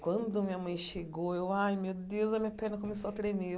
Quando a minha mãe chegou, eu... Ai, meu Deus, a minha perna começou a tremer.